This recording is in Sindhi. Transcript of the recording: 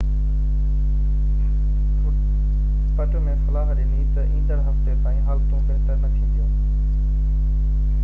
پٽ مين صلاح ڏني تہ ايندڙ هفتي تائين حالتون بهتر نہ ٿينديون